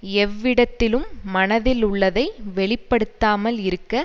எவ்விடத்திலும் மனதிலுள்ளதை வெளி படுத்தாமல் இருக்க